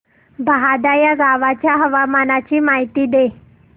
बहादा या गावाच्या हवामानाची माहिती दे